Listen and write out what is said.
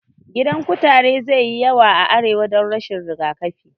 Gidan kutare zai yi yawa a arewa dan rashin rigakafi